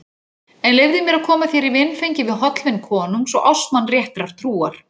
En leyfðu mér að koma þér í vinfengi við hollvin konungs og ástmann réttrar trúar.